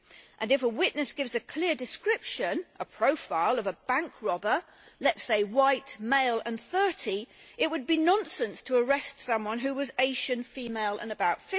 and if a witness gives a clear description, a profile of a bank robber, let us say white, male and 30 it would be nonsense to arrest someone who was Asian, female and about